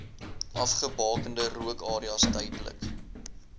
afgebakende rookareas duidelik